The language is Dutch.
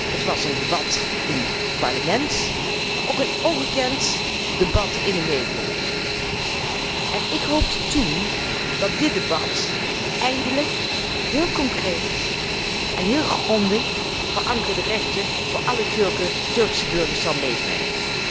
Het was een debat in het parlement, maar ook een ongekend debat in de media. Ik hoopte toen dat dit debat eindelijk heel concreet en heel grondig verankerde rechten voor alle Turkse burgers zou opleveren.